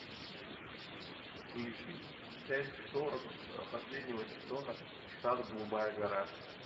включи часть сорок последнего сезона штат голубая гора